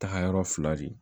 Tagayɔrɔ fila de ye